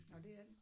Nåh det er den